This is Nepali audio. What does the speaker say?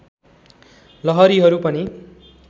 लहरीहरू पनि